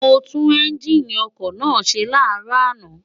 mo tú́n ẹ́ńgíìnì ọkọ̀ náà ṣe láàárọ̀ àná